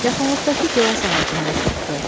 Yaxınlıqdakı gilaz ağacına üz tutdu.